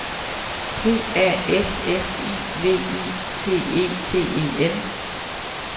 P A S S I V I T E T E N